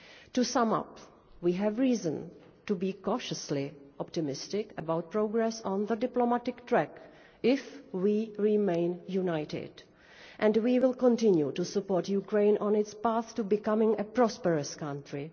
To sum up, we have reason to be cautiously optimistic about progress on the diplomatic track if we remain united, and we will continue to support Ukraine on its path to becoming a prosperous country.